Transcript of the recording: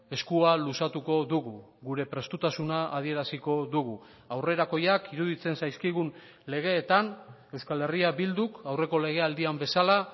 eskua luzatuko dugu gure prestutasuna adieraziko dugu aurrerakoiak iruditzen zaizkigun legeetan euskal herria bilduk aurreko legealdian bezala